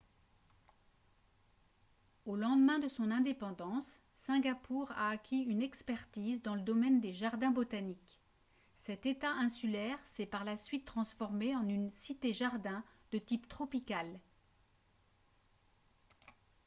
au lendemain de son indépendance singapour a acquis une expertise dans le domaine des jardins botaniques cet etat insulaire s'est par la suite transformé en une cité jardin de type tropical